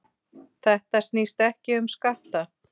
Þetta snýst ekki um skatta.